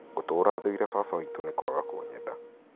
ngũtũũra thũire baba witũ nĩ kwaga kũnyenda